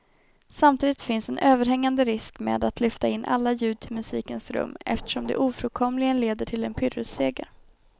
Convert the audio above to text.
Samtidigt finns en överhängande risk med att lyfta in alla ljud till musikens rum eftersom det ofrånkomligen leder till en pyrrusseger.